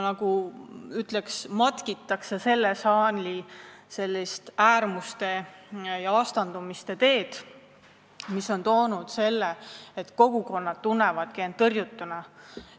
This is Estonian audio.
Ma ütleks, et palju matkitakse selle saali äärmuste ja vastandumiste teed, mis on kaasa toonud selle, et kogukonnad tunnevad end tõrjutuna.